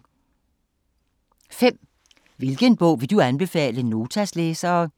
5) Hvilken bog vil du anbefale Notas læsere?